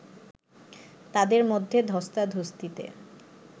তাদের মধ্যে ধস্তাধস্তিতে